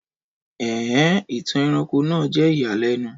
Ẹn en! Ìtàn ẹranko náà jẹ́ ìyàlẹ́nu